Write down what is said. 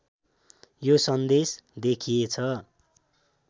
यो सन्देश देखिएछ